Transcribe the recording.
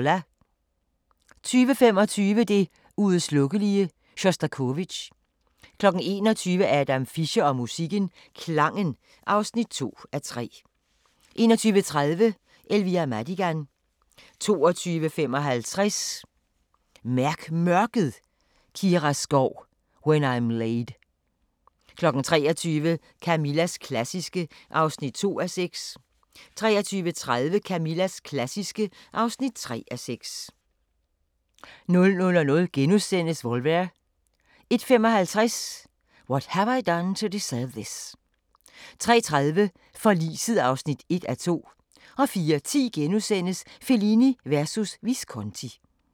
20:25: Det uudslukkelige: Sjostakovitj 21:00: Adam Fischer og musikken - Klangen (2:3) 21:30: Elvira Madigan 22:55: Mærk Mørket: Kira Skov "When I'm laid" 23:00: Camillas klassiske (2:6) 23:30: Camillas klassiske (3:6) 00:00: Volver * 01:55: What Have I Done to Deserve This? 03:30: Forliset (1:2) 04:10: Fellini versus Visconti *